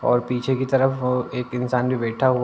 और पीछे की तरफ अ एक इंसान जो बैठा हु --